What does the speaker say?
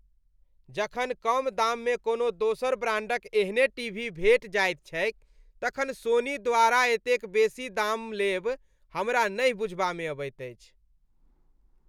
जखन कम दाममे कोनो दोसर ब्रांडक एहने टीवी भेटि जाइत छैक तखन सोनी द्वारा एतेक बेसी दाम लेब हमरा नहि बुझबामे अबैत अछि।